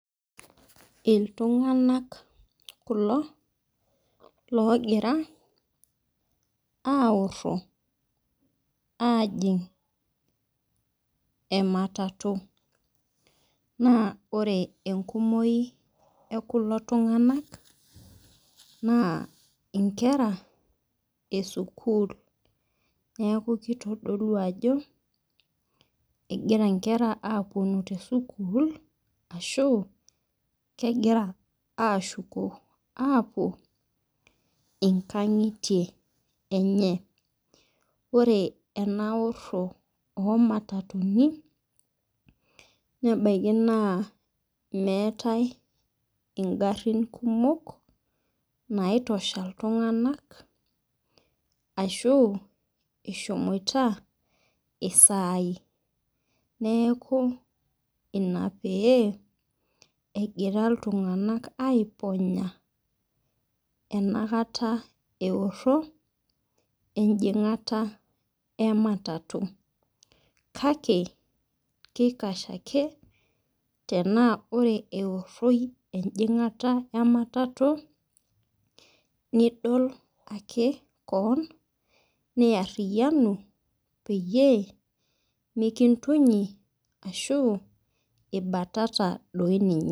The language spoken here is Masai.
Iltunganak kulo logira aoro esimu ajing ematatu na ore enkumoi ekulo tunganak nankera esukul na kitadolu ako egira nkera apuku tesukul ashu kwgira ashuko apuo nkangitie enye ore enaoro omatatuni na ebaki meetae ingarin kumok naitosha ltunganak ashu eshomoita saai neaku ina pew egira ltunganak aiponya inakata eoro enguto kake kikash ake tana ore eoshi nidol ake keon niariyanu peyie mikintunyi ashu ibatata ninye.